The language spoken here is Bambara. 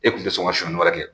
E kun te sɔn ka suɲɛni wɛrɛ kɛ.